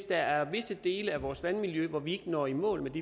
der er visse dele af vores vandmiljø hvor vi ikke når i mål med det